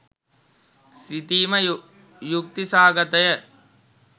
සිතීම යුක්ති සහගතය.